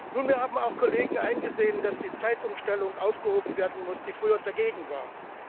Nunmehr haben auch Kollegen eingesehen, dass die Zeitumstellung aufgehoben werden muss, die früher dagegen waren.